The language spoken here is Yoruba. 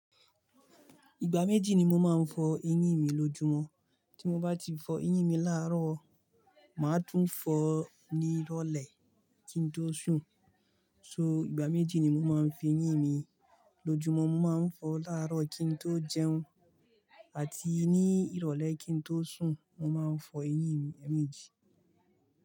Ìgbà méjì ni mo máa ń fọ eyín mi lójúmọ́. Tí mo bá ti fọ eyín mi láàárọ̀, mà á tún fọ ní ìrọ̀lẹ́ kí n tó sùn. So, ìgbà méjì ni mo máa ń fo eyín mi lójúmọ́. Mo máa ń fọ láàárọ̀ kí n tó jẹun àti ní ìrọ̀lẹ́ kí n tó sùn. Mo máa ń fọ eyín mi ẹ́ẹ̀mejì.